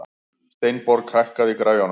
Steinborg, hækkaðu í græjunum.